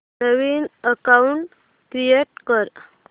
नवीन account create कर